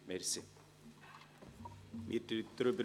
Wir befinden darüber.